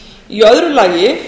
í öðru lagi